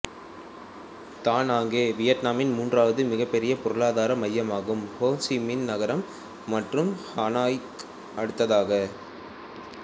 தா நாங்கே வியட்நாமின் மூன்றாவது மிகப்பெரிய பொருளாதார மையமாகும்ஹோ சி மின் நகரம் மற்றும் ஹனோய்க்கு அடுத்ததாக